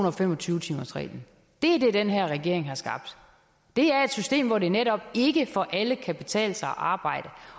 og fem og tyve timersreglen det er det den her regering har skabt det er et system hvor det netop ikke for alle kan betale sig at arbejde